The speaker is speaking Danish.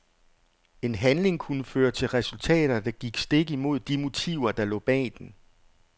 En handling kunne føre til resultater, der gik stik imod de motiver der lå bag den.